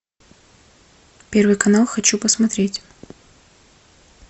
первый канал хочу посмотреть